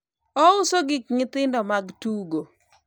ouso gik nyithindo mag tugo